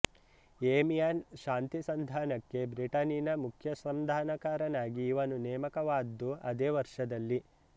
Amiens ಶಾಂತಿ ಸಂಧಾನಕ್ಕೆ ಬ್ರಿಟನಿನ ಮುಖ್ಯ ಸಂಧಾನಕಾರನಾಗಿ ಇವನು ನೇಮಕವಾದ್ದು ಅದೇ ವರ್ಷದಲ್ಲಿ